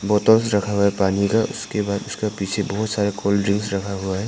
Bottles रखा हुआ है पानी का उसके बाद उसका पीछे बहुत सारे कोल्ड ड्रिंक्स रखा हुआ है।